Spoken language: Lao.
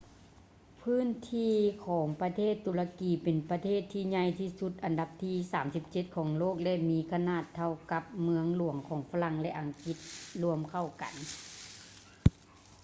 ພື້ນທີ່ຂອງປະເທດຕຸລະກີເປັນປະເທດທີ່ໃຫຍ່ທີ່ສຸດອັນດັບທີ 37 ຂອງໂລກ ແລະ ມີຂະໜາດເທົ່າກັບ ເມືອງຫຼວງຂອງຝຣັ່ງ ແລະ ອັງກິດລວມເຂົ້າກັນ